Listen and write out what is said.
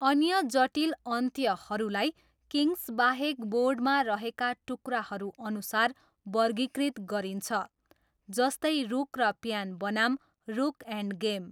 अन्य जटिल अन्त्यहरूलाई किङ्ग्सबाहेक बोर्डमा रहेका टुक्राहरूअनुसार वर्गीकृत गरिन्छ, जस्तै 'रुक र प्यान बनाम रुक' एन्ड गेम।